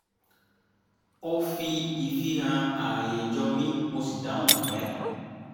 ó fi ìfihàn àayè jọ mi mo sì dáhùn pẹ́